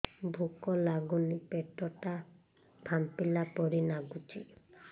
ଭୁକ ଲାଗୁନି ପେଟ ଟା ଫାମ୍ପିଲା ପରି ନାଗୁଚି